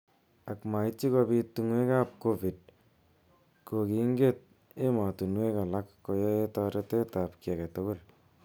Ak maityi kobit tungwek ab covid kokinget emotunwek alak koyae toretet ab ki age tugul.